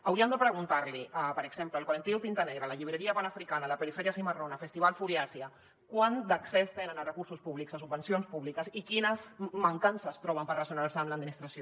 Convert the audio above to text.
hauríem de preguntar los per exemple al col·lectiu tinta negra a la llibreria panafricana a la periferia cimarronas al festival furiasia quant d’accés tenen a recursos públics a subvencions públiques i quines mancances troben per relacionar se amb l’administració